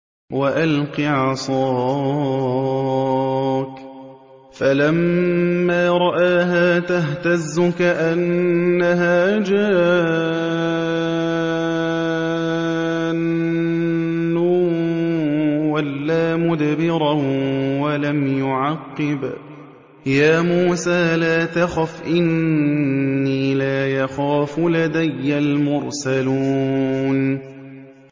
وَأَلْقِ عَصَاكَ ۚ فَلَمَّا رَآهَا تَهْتَزُّ كَأَنَّهَا جَانٌّ وَلَّىٰ مُدْبِرًا وَلَمْ يُعَقِّبْ ۚ يَا مُوسَىٰ لَا تَخَفْ إِنِّي لَا يَخَافُ لَدَيَّ الْمُرْسَلُونَ